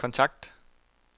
kontakt